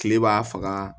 Kile b'a faga